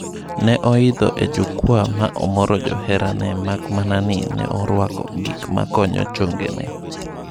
Ne oidho e jukwaa ma omoro johera ge mak mana ni ne orwako gik makonyo chongene.